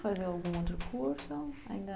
Fazer algum outro curso?